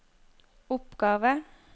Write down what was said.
oppgave